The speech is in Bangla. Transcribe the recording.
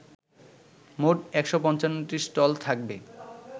মোট ১৫৫টি স্টল থাকবে